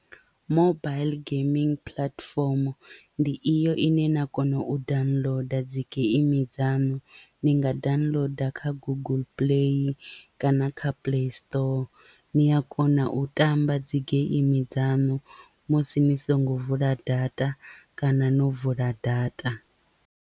Mobile geimi platform ndi iyo ine na kono u downloader dzi geimi dzaṋu, ni nga downloader kha guguḽu play kana kha play store ni a kona u tamba dzi geimi dzanu musi ni songo vula data kana no vula data.